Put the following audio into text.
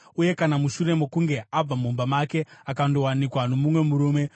uye kana mushure mokunge abva mumba make akandowanikwa nomumwe murume,